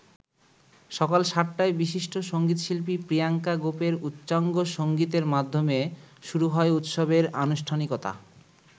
সকাল ৭টায় বিশিষ্ট সংগীতশিল্পী প্রিয়াংকা গোপের উচ্চাঙ্গ সংগীতের মাধ্যমে শুরু হয় উৎসবের আনুষ্ঠানিকতা।